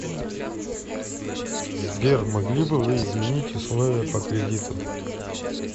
сбер могли бы вы изменить условия по кредиту